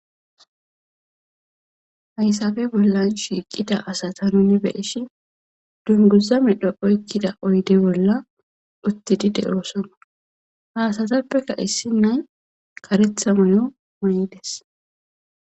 haysafe bollan shiiqida asata nuni beeshi dunguza midho oykkida oyde bolla uttidi de7osona haasatappeka issi nay karetha moyo may7ides